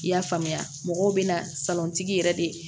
I y'a faamuya mɔgɔw bɛ na yɛrɛ de